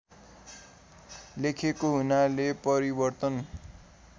लेखेको हुनाले परिवर्तन